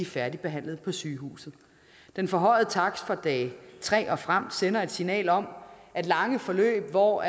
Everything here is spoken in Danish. færdigbehandlet på sygehuset den forhøjede takst fra dag tre og frem sender et signal om at lange forløb hvor